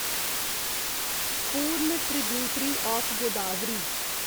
पूर्ण tributary of Godavari